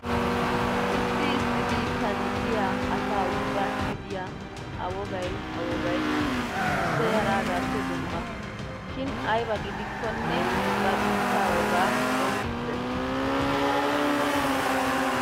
Issi issi biittan diya asa ubbaassi diya a wogay a wogay issoy haraagaappe dumma. Shin ayba gidikkonne ba biittaa wogaa qonccissees.